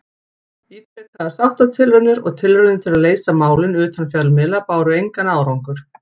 Ítrekaðar sáttatilraunir og tilraunir til að leysa málin utan fjölmiðla báru engan árangur.